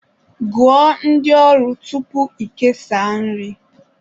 Gụọ ndị ọrụ tupu ị kesaa nri